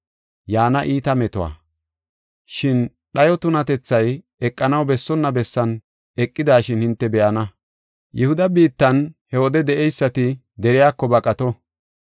“Shin dhayo tunatethay eqanaw bessonna bessan eqidashin hinte be7ana.” (Akeekiso: Hessi woy guusseko nabbabeysi akeeko!) “Yihuda biittan he wode de7eysati deriyako baqato.